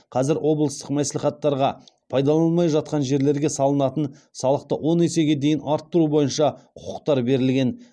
қазір облыстық мәслихаттарға пайдаланылмай жатқан жерлерге салынатын салықты он есеге дейін арттыру бойынша құқықтар берілген